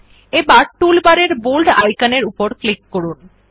এবার টুলবারের বোল্ড আইকনের উপর ক্লিক করুন